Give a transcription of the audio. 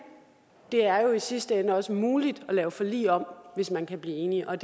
det er jo i sidste ende også muligt at lave et forlig om hvis man kan blive enig og